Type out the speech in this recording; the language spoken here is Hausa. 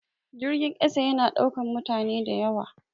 Jirgin ƙasa ya na ɗaukan mutane da yawa